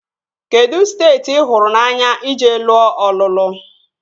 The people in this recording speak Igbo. Kedụ steeti ị hụrụ n'anya ije lụọ ọlụlụ?